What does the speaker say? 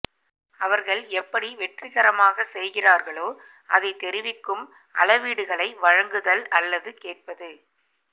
அவர்கள் எப்படி வெற்றிகரமாக செய்கிறார்களோ அதைத் தெரிவிக்கும் அளவீடுகளை வழங்குதல் அல்லது கேட்பது